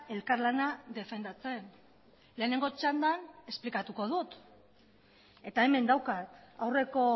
elkarlana defendatzen lehenengo txandan esplikatuko dut eta hemen daukat aurreko